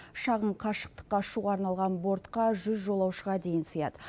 шағын қашықтыққа ұшуға арналған бортқа жүз жолаушыға дейін сыяды